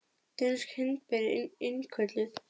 Dönsk hindber innkölluð